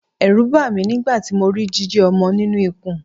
Ẹ̀rù bà mí nígbà tí mo rí jíjì ọmọ nínú ikùn.